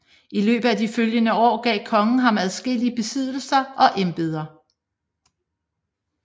I løbet af de følgende år gav kongen ham adskillige besiddelser og embeder